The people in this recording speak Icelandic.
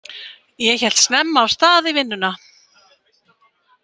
Ég hélt snemma af stað í vinnuna.